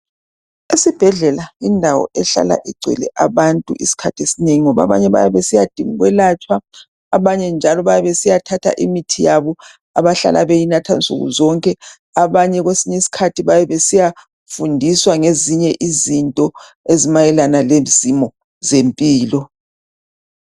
Esibhedlela indawo ehlala igcwele abantu isikhathi esinengi ngoba abanye bayabe besiya dinga ukwelatshwa abanye njalo bayabe besiyathatha imithi yabo abahlala beyinatha nsuku zonke. Abanye kwesinye isikhathi bayabe besiya fundiswa ngezinye izinto ezimayelana ngezimo zempilo.